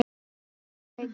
Þórey Björk.